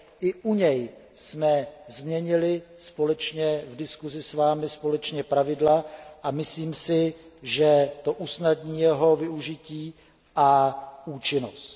I u něj jsme změnili společně v diskuzi s vámi pravidla a myslím si, že to usnadní jeho využití a účinnost.